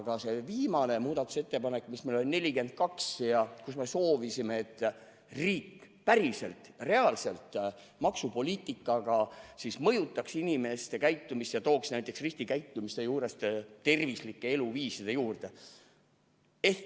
Aga see meie viimane muudatusettepanek, see nr 42 – sellega me soovisime, et riik päriselt, reaalselt mõjutaks maksupoliitika kaudu inimeste käitumist ja tooks nad riskikäitumise juurest tervislike eluviiside juurde.